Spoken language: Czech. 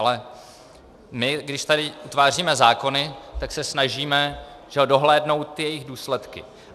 Ale my když tady utváříme zákony, tak se snažíme dohlédnout ty jejich důsledky.